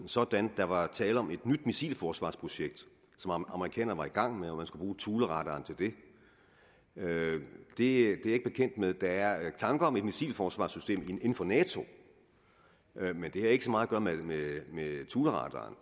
sådan at der var tale om et nyt missilforsvarsprojekt som amerikanerne var i gang med og at man skulle bruge thuleradaren til det det er jeg ikke bekendt med der er tanker om et missilforsvarssystem inden for nato men det har ikke så meget med thuleradaren